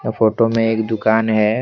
Photo में एक दुकान है।